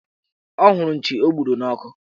Ọ hụrụ nchi o gburu n' ọkụ